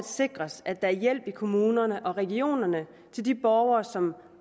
sikres at der er hjælp i kommunerne og regionerne til de borgere som